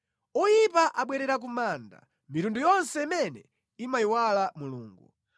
Oyipa amabwerera ku manda, mitundu yonse imene imayiwala Mulungu.